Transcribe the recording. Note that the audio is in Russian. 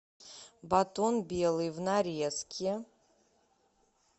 батон белый в нарезке